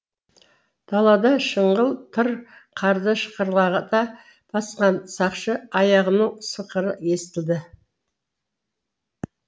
далада шыңғыл тыр қарды шықырлата басқан сақшы аяғының сықыры естілді